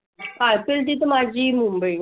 अह IPL ची माझी मुंबई.